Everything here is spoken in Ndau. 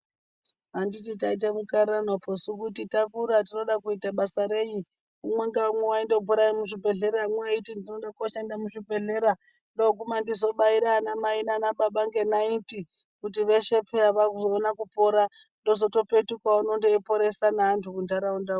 Anditi taite mukarirano poo suu kuti takura tinode kuite basa renyi umwe naumwe waindobhuya rezvibhedhlera umwe eyiti ndinode kundoshanda muzvibhedhlera ndoguma ndizobayire ana mai nana baba ngenariti kuti veshe peya vazoona kuoira ndozotopetuka uno ndeyiporesa ndeandu mundaraunda umo.